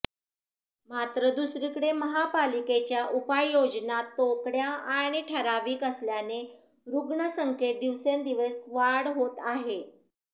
मात्र दुसरीकडे महापालिकेच्या उपाययोजना तोकड्या आणि ठराविक असल्याने रुग्ण संख्येत दिवसेंदिवस वाढ होत आहे